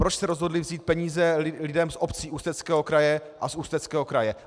Proč se rozhodli vzít peníze lidem z obcí Ústeckého kraje a z Ústeckého kraje?